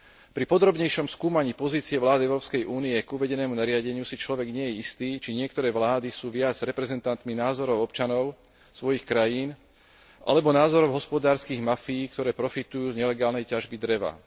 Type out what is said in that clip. Po podrobnejšom skúmaní pozícií vlád Európskej únie k uvedenému nariadeniu si človek nie je istý, či niektoré vlády sú viac reprezentantmi názorov občanov svojich krajín alebo názorov hospodárskych mafií, ktoré profitujú z nelegálnej ťažby dreva.